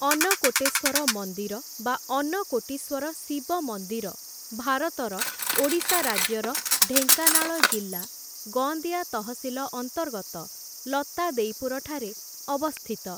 ଅନ୍ନକୋଟେଶ୍ୱର ମନ୍ଦିର ବା ଅନ୍ନକୋଟୀଶ୍ୱର ଶିବ ମନ୍ଦିର ଭାରତର ଓଡ଼ିଶା ରାଜ୍ୟର ଢେଙ୍କାନାଳ ଜିଲ୍ଲା ଗୋନ୍ଦିଆ ତହସିଲ ଅନ୍ତର୍ଗତ ଲତାଦେଇପୁର ଠାରେ ଅବସ୍ଥିତ ।